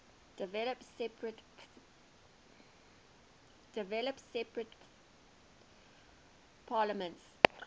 developed separate parliaments